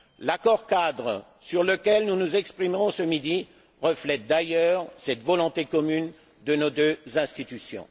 L'accord cadre sur lequel nous nous exprimerons ce midi reflète d'ailleurs cette volonté commune de nos deux institutions.